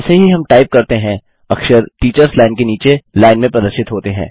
जैसे ही हम टाइप करते हैं अक्षर टीचर्स लाइन के नीचे लाइन में प्रदर्शित होते हैं